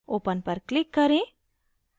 open पर click करें